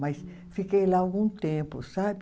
Mas fiquei lá algum tempo, sabe?